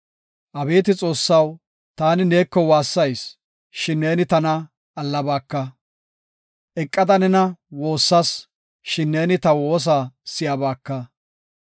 Abeeti Xoossaw, taani neeko waassayis; shin neeni tana allabaka. Eqada nena woossas; shin neeni ta woosa si7abaka.